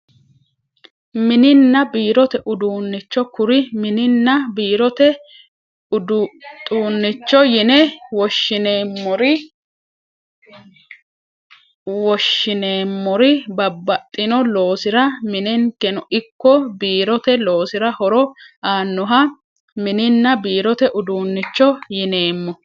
Mininna biirote uduunnicho kuri mininna biirote udxuunnicho yine woshshineemnoori babbaxxino loosira minenkeno ikko biirote loosira horo aannoha mininna biirote uduunnicho yineemmo